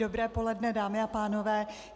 Dobré poledne, dámy a pánové.